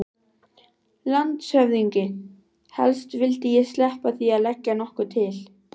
LANDSHÖFÐINGI: Helst vildi ég sleppa því að leggja nokkuð til.